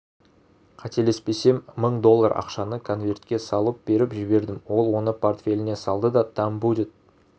қателеспесем мың доллар ақшаны конверге салып беріп жібердім ол оны портфеліне салды да там будет